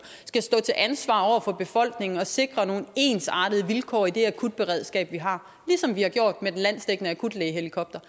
skal stå til ansvar over for befolkningen og sikre nogle ensartede vilkår i det akutberedskab vi har ligesom vi har gjort med den landsdækkende akutlægehelikopter